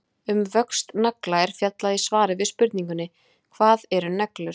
Um vöxt nagla er fjallað í svari við spurningunni Hvað eru neglur?